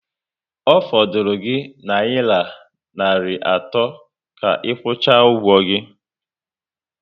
Ọ fọdụrụ gi nayira narị atọ ka ikwucha ụgwọ gị